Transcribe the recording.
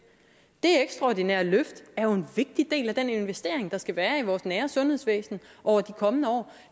det ekstraordinære løft er jo en vigtig del af den investering der skal være i vores nære sundhedsvæsen over de kommende år